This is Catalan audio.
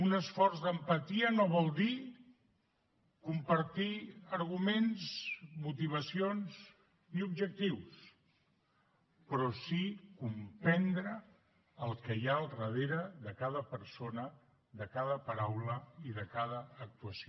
un esforç d’empatia no vol dir compartir arguments motivacions i objectius però sí comprendre el que hi ha al darrere de cada persona de cada paraula i de cada actuació